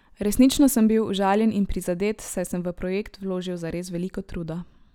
Resnično sem bil užaljen in prizadet, saj sem v projekt vložil zares veliko truda.